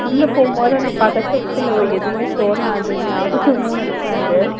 உள்ள போகும்போது அந்த பதட்டத்துல எதுவுமே தோணாது ஞாபகமும் இருக்காது